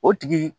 O tigi